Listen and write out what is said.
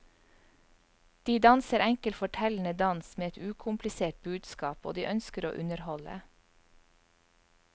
De danser enkel fortellende dans med et ukomplisert budskap, og de ønsker å underholde.